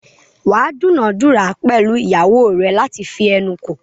wà á dúnàádúrà pẹ̀lú ìyàwó rẹ láti fi ẹnu kò.